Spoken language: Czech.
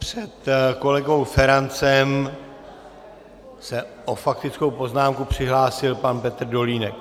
Před kolegou Ferancem se o faktickou poznámku přihlásil pan Petr Dolínek.